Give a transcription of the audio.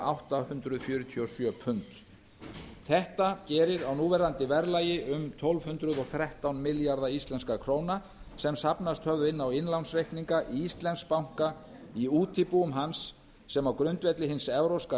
átta hundruð fjörutíu og sjö pund þetta gerir á núverandi verðlagi um tólf hundruð og þrettán milljarða íslenskra króna sem safnast höfðu á innlánsreikninga íslensks banka í útibúum hans sem á grundvelli hins evrópska